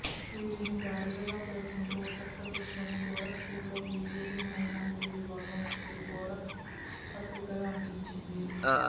వీరిని గాడిదగా పేర్కొంటూ ఉత్తరప్రదేశ్ లోని గోరఖ్ పూర్ లో బీజేపీ మైనారిటీ విభాగం ఒకటి గోడ పత్రికలు అంటించింది